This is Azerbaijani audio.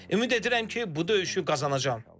Ümid edirəm ki, bu döyüşü qazanacam.